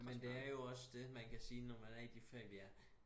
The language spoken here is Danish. Men det er jo også det man kan sige når man er i de fag vi er